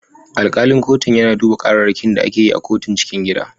Alkalin kotun yana duba kararrakin da ake yi a kotun cikin gida.